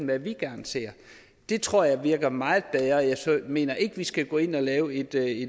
hvad vi gerne ser det tror jeg virker meget bedre jeg mener ikke at vi skal gå ind og lave en